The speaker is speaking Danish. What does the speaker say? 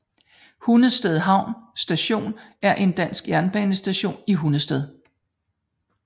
Hundested Havn Station er en dansk jernbanestation i Hundested